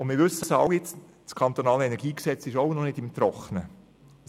» Wir wissen alle, dass das KEnG auch noch nicht im Trockenen ist.